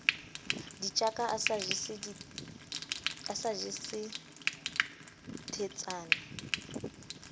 ditjaka a sa jese thweetsana